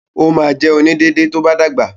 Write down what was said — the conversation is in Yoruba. Ó ma jẹ “onídéédé” tó bá dàgbà.